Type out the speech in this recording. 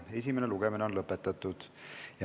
Esimene lugemine on lõppenud.